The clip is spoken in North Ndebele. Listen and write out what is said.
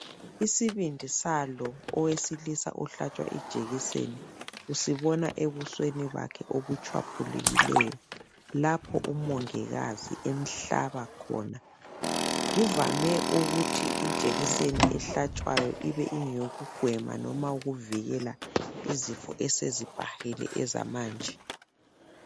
Isibindi salo owesilisa ohlatshwa ijekiseni usibona ebusweni bakhe obutshwaphulukileyo lapho uMongikazi emhlaba khona. Uvame ukuthi ijekiseni ehlatshwayo ibe ingeyokugwema noma ukuvikela izifo esezibhahile ezamanje.